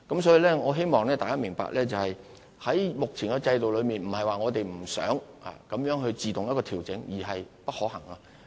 所以，我希望大家明白，在目前的制度下，並非我們不想自動進行調整，而是並不可行。